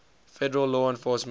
federal law enforcement